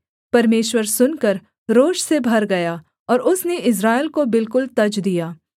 परमेश्वर सुनकर रोष से भर गया और उसने इस्राएल को बिल्कुल तज दिया